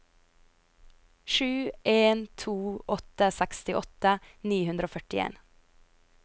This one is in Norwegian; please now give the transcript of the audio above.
sju en to åtte sekstiåtte ni hundre og førtien